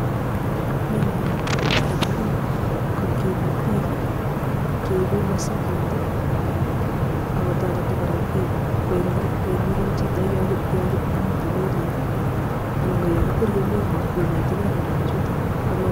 melit kotareti bik kokim ak bik, keibe masiket, ak kotareti kora koek nyikan chito yamitei melit, anan ko yakikweriei melit konetegei kora bichutok.